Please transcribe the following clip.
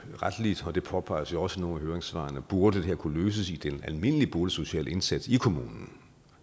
retligt og det påpeges jo også i nogle af høringssvarene burde det her kunne løses i den almindelige boligsociale indsats i kommunen